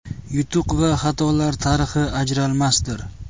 Yutuq va xatolar tarixi ajralmasdir.